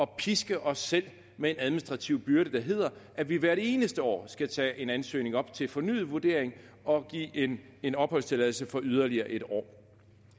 piske os selv med en administrativ byrde der hedder at vi hvert eneste år skal tage en ansøgning op til fornyet vurdering og give en opholdstilladelse for yderligere en år